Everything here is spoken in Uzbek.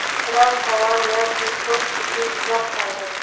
Biror savol yoki post uchun izoh qoldiring.